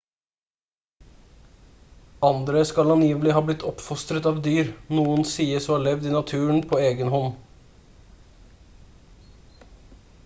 andre skal angivelig ha blitt oppfostret av dyr noen sies å ha levd i naturen på egenhånd